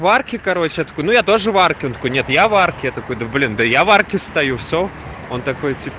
варки короче откуда я тоже марку нет я варки такое блин я варки стою все он такой